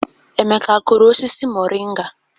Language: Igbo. Emeka akụrụ osisi moringa?